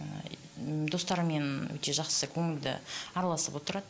ііі достарымен өте жақсы көңілді араласып отырады